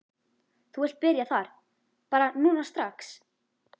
Þú vilt byrja þar bara núna strax?